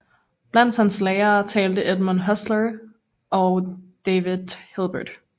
Blandt hans lærere talte Edmund Husserl og David Hilbert